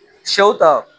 Sɛw ta